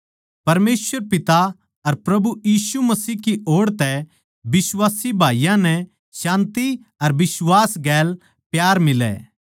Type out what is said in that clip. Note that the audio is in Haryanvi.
परमेसवर पिता अर प्रभु यीशु मसीह की ओड़ तै बिश्वासी भाईयाँ नै शान्ति अर बिश्वास गैल प्यार मिलै